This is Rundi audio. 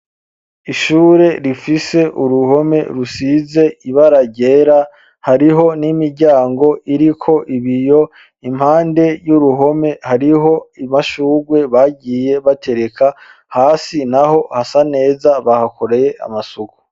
Ishure rifise uruhome rusize ibara ryera hariho n'imiryango irio ibiyo iruhande y'uruhome hariho amshugwe bagiye batereka hasi naho hasa neza bahakoreye amasuku.